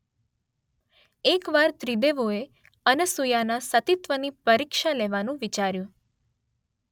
એક વાર ત્રિદેવોએ અનસુયાના સતીત્વની પરિક્ષા લેવા વિચાર્યું.